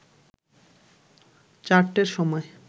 চারটের সময়